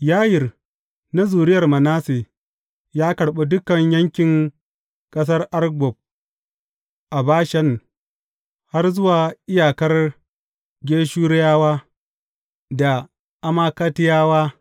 Yayir na zuriyar Manasse ya karɓi dukan yankin ƙasar Argob a Bashan har zuwa iyakar Geshurawa da Ma’akatiyawa.